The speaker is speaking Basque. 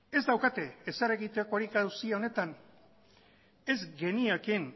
ez daukate ezer egitekorik auzi honetan ez geniakeen